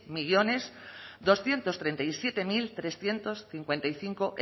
mil doscientos treinta y siete coma trescientos cincuenta y cinco